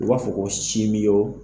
U b'a fɔ ko